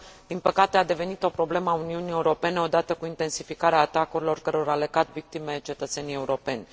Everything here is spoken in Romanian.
din păcate, a devenit o problemă a Uniunii Europene, o dată cu intensificarea atacurilor cărora le cad victime cetățenii europeni.